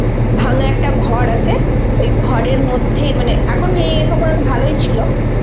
ভাঙ্গা একটা ঘর আছে, ওই ঘরের মধ্যে মানে এখন নেই তখন ভালোই ছিল